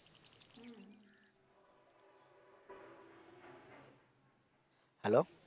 hello